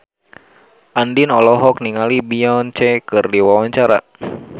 Andien olohok ningali Beyonce keur diwawancara